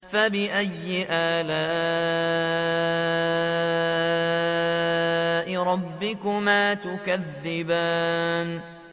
فَبِأَيِّ آلَاءِ رَبِّكُمَا تُكَذِّبَانِ